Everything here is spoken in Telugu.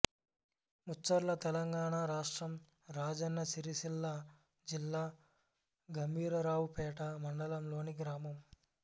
ముచ్చర్ల తెలంగాణ రాష్ట్రం రాజన్న సిరిసిల్ల జిల్లా గంభీరావుపేట మండలంలోని గ్రామం